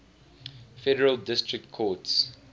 federal district courts